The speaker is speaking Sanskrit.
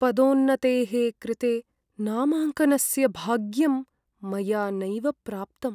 पदोन्नतेः कृते नामाङ्कनस्य भाग्यं मया नैव प्राप्तम्।